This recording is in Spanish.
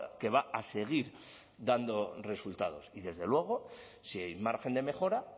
que va a seguir dando resultados y desde luego si hay margen de mejora